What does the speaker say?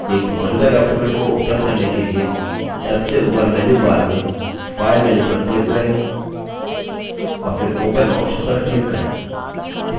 एक मौजूदा document को open करने के लिए सबसे ऊपर menu bar में file menu पर click करें और फिर open option पर click करें